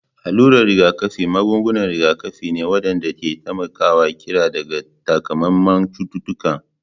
Alurar rigakafi magungunan rigakafi ne waɗanda ke taimakawa kariya daga takamaiman cututtuka